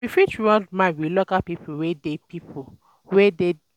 We fit rub mind with local people wey dey people wey dey di places wey we visit understand their ways of life